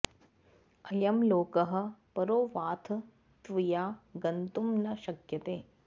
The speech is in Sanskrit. अयं लोकः परो वाथ त्वया गन्तुं न शक्यते